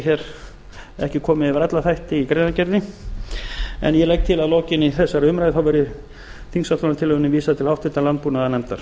hef ekki komið við alla þætti í greinargerðinni en ég legg til að lokinni þessari umræðu þá verði þingsályktunartillögunni vísað til háttvirtrar landbúnaðarnefndar